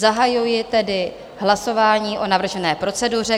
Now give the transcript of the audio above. Zahajuji tedy hlasování o navržené proceduře.